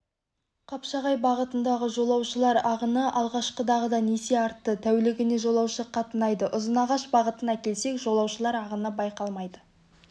қапшағай бағытындағы жолаушылар ағыны алғашқыдағыдан есе артты тәулігіне жолаушы қатынайды ұзынағаш бағытына келсек жолаушылар ағыны байқалмайды